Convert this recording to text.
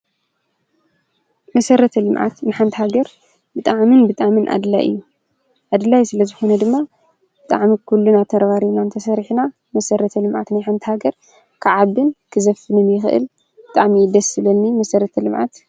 መሰረተ ልምዓት ንሓንቲ ሃገር ብጣዕምን ብጣዕምን ኣድላዩ እዩ። ኣድላይ ስለ ዝኾነ ድማ ብጣዕሚ ኩልና ተራባሪብና ተሰሪሕና መሰረተ ልምዓት ናይ ሓንቲ ሃገር ክዓቢን ክዘፍንን ይኽአል ። ብጣዕሚ እዪ ደስ ዝብለኒ መሰረተ ልምዓት።